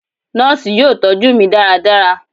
Nọọsi yoo tọju mi ​​daradara